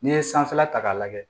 N'i ye sanfɛla ta k'a lajɛ